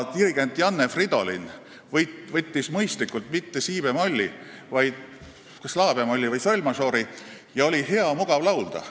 Dirigent Janne Fridolin võttis mõistlikult mitte si-bemolli, vaid kas la-bemolli või sol-mažoori ja oli hea mugav laulda.